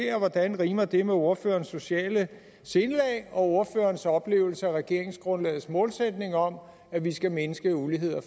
og hvordan rimer det med ordførerens sociale sindelag og ordførerens oplevelse af regeringsgrundlagets målsætning om at vi skal mindske ulighed og